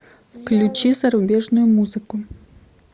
включи зарубежную музыку